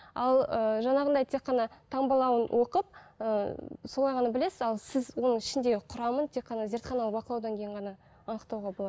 ал ыыы жаңағындай тек қана таңбалауын оқып ыыы солай ғана білесіз ал сіз оның ішіндегі құрамын тек қана зертханалық бақылаудан кейін ғана анықтауға